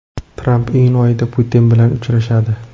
Tramp iyun oyida Putin bilan uchrashadi.